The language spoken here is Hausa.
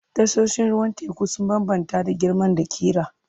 Tashoshin ruwan teku sun bambanta da girma da ƙira.